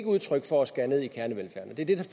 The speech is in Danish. udtryk for at skære ned i kernevelfærden det er det